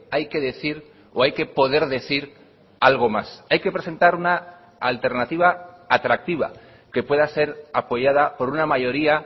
hay que decir o hay que poder decir algo más hay que presentar una alternativa atractiva que pueda ser apoyada por una mayoría